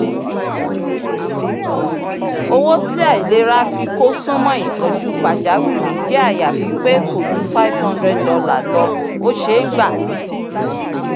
owó tí aláìlera fi kó sún mọ́ ìtọju pajawiri jẹ́ àyàfi pé kò ju $500 lọ ó ṣeé gbà